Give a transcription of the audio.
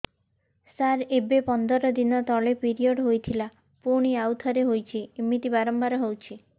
ସାର ଏବେ ପନ୍ଦର ଦିନ ତଳେ ପିରିଅଡ଼ ହୋଇଥିଲା ପୁଣି ଆଉଥରେ ହୋଇଛି ଏମିତି ବାରମ୍ବାର ହଉଛି